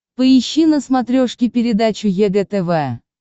поищи на смотрешке передачу егэ тв